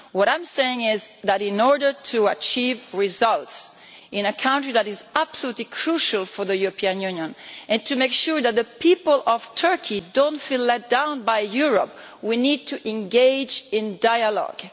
What I am saying is that, in order to achieve results in a country that is absolutely crucial for the European Union, and to make sure that the people of Turkey do not feel let down by Europe, we need to engage in dialogue.